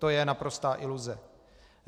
To je naprostá iluze.